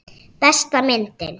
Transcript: Besta myndin.